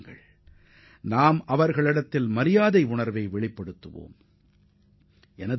அவர்களுக்கு நமது நன்றி உணர்வை வெளிப்படுத்த அனைவரும் முன்வர வேண்டும்